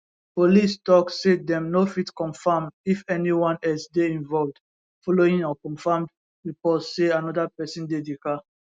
police tok say dem no fit confam if anyone else dey involved following unconfirmed reports say anoda pesin dey di car